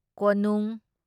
ꯀꯣꯅꯨꯡ